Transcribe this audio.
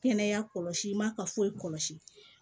Kɛnɛya kɔlɔsi man ka foyi kɔlɔsi